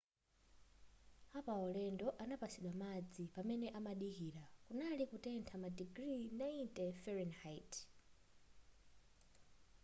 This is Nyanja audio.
apaulendo anapatsidwa madzi pamene amadikira kunali kutentha madigiri 90 f